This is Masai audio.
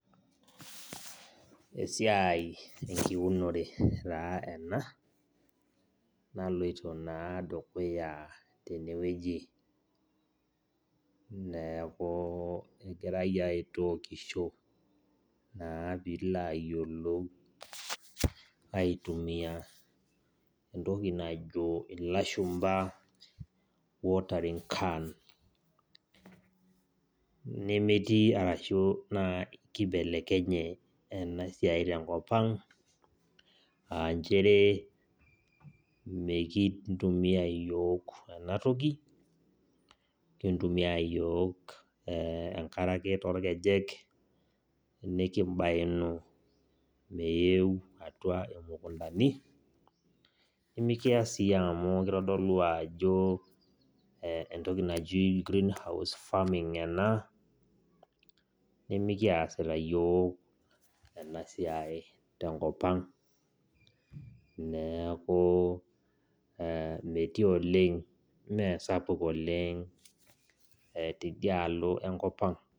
Esiai enkiunore taa ena, naloito naa dukuya tenewueji. Neeku kegirai aitookisho naa pilo ayiolou aitumia entoki najo ilashumpa watering can. Nemetii arashu kibelekenye enasiai tenkop ang, ah njere, mekintumia yiok enatoki, kintumia yiok enkare ake torkejek, nikibainu meeu atua imukuntani, nimikias si amu kitodolu ajo entoki naji greenhouse farming ena, nimikiasita yiok enasiai tenkop ang. Neeku metii oleng mesapuk oleng tidialo enkop ang.